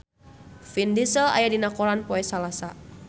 Vin Diesel aya dina koran poe Salasa